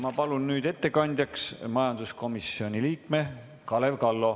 Ma palun nüüd ettekandjaks majanduskomisjoni liikme Kalev Kallo.